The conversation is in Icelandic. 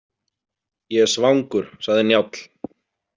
Ég er svangur, sagði Njáll.